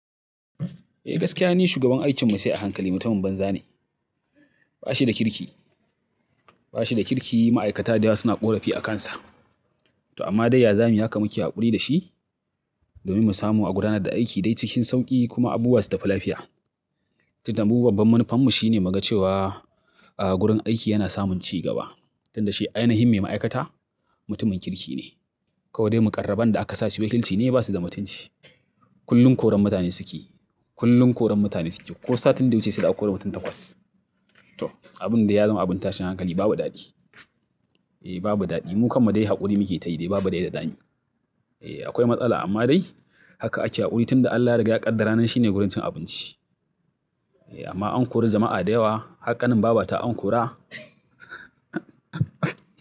Eh gaskiya ni shugaban aikin mu sai a hankali mutumin banza ne. Ba shi da kirki, ba shi da kirki. Ma'aikata da yawa suna ƙorafi a kansa. To amma dai ya zamuyi haka muke haƙuri da shi domin mu samu a gudanar da aiki dai cikin sauƙi kuma abubuwa su tafi lafiya. Tin da babban manufanmu shine mu ga cewa a gurin aiki yana samun cigaba. Tin da shi, ainihin me ma'aikata mutumin kirki ne. Kawai dai muƙarraban da aka sasu wakilci ne basu da mutunci. Kullum koren mutane suke, kullum koren mutane suke. Ko satin da wuce sai da kori mutum takwas. To abun da ya zama abin tashin hankali babu daɗi. Eh babu daɗi. Mu kammu dai haƙuri muke tayi dai babu da ya dda zamuy. Eh akwai matsala amma dai haka ake haƙuri. Tin da Allah riga ya ƙaddara nan shine wurin cin abinci. Eh amma an kori jama'a da yawa. Haƙƙanin babata an kora.